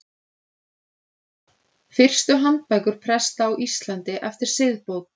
Fyrstu handbækur presta á Íslandi eftir siðbót.